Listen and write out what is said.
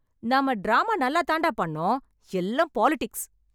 நாம டிராமா நல்லாத்தாண்டாப் பண்ணோம், எல்லாம் பாலிடிக்ஸ்.